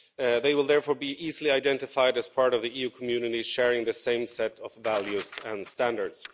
They will therefore be easily identified as part of the EU community, sharing the same set of values and standards.